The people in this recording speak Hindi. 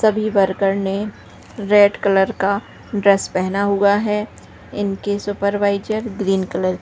सभी वर्कर ने । रेड कलर का ड्रेस पहना हुआ है इनके सुपरवाइजर ग्रीन कलर --